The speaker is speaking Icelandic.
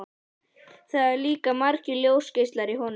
Það eru líka margir ljósgeislar í honum.